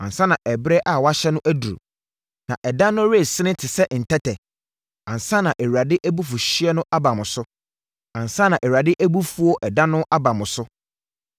ansa na ɛberɛ a wɔahyɛ no aduru, na ɛda no resene te sɛ ntɛtɛ, ansa na Awurade abufuhyeɛ no aba mo so, ansa na Awurade abufuo ɛda no aba mo so.